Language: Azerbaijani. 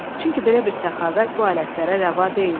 Çünki belə bir səxavət bu alətlərə rəva deyildi.